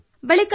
ಓಹೊ